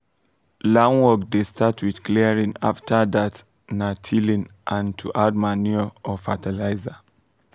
land work dey start with clearing after that na tilling and to add manure or fertilizer